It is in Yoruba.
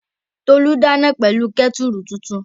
Tolú dáná pẹ̀lú kẹ́tùrù tuntun